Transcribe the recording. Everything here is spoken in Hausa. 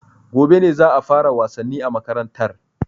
Gobe za a fara wasanni a makarantar